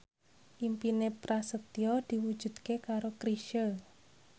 impine Prasetyo diwujudke karo Chrisye